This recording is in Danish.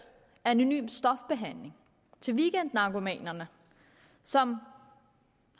anonym stofbehandling til weekendnarkomaner som